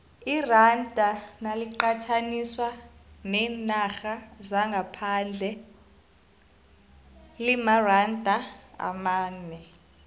iranda naliqathaniswa neenarha zangaphandle limaranda amane